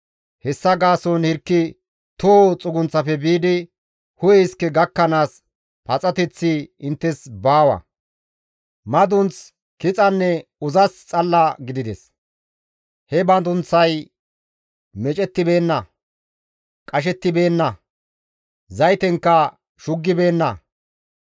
Hessa gaason hirki toho xugunththafe biidi hu7e iske gakkanaas paxateththi inttes baawa. Madunth, kixanne uzas xalla gidides. He madunththay meecettibeenna; qashettibeenna; zaytenkka shuggibeenna.